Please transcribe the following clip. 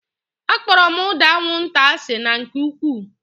Akpọrọ m ụda anwụnta asị na nke ụkwụụ